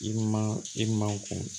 I man i man kun